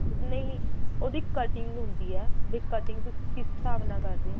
ਨਹੀਂ ਨਹੀਂ ਉਹਦੀ cutting ਹੁੰਦੀ ਏ ਵੀ cutting ਤੁਸੀਂ ਕਿਸ ਹਿਸਾਬ ਨਾਲ ਕਰਦੇ ਓ